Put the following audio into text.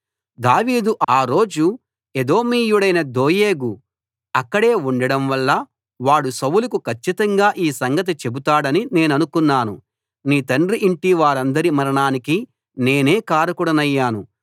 దావీదు ఆ రోజు ఎదోమీయుడైన దోయేగు అక్కడే ఉండడంవల్ల వాడు సౌలుకు కచ్చితంగా ఈ సంగతి చెబుతాడని నేననుకొన్నాను నీ తండ్రి యింటివారందరి మరణానికి నేనే కారకుడనయ్యాను